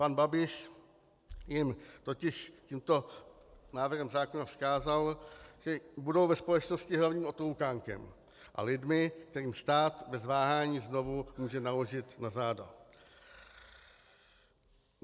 Pan Babiš jim totiž tímto návrhem zákona vzkázal, že budou ve společnosti hlavním otloukánkem a lidmi, kterým stát bez váhání znovu může naložit na záda.